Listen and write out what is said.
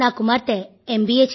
నా కుమార్తె ఎం